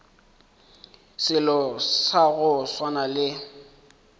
selo sa go swana le